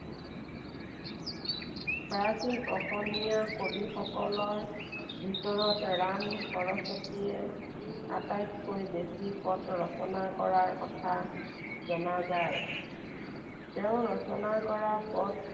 প্ৰাচীন অসমীয়া কবিসকলৰ ভিতৰত ৰাম সৰস্বতীয়ে আটাইতকৈ বেছি পদ ৰচনা কৰাৰ কথা জনা যায়। তেওঁ ৰচনা কৰা পদ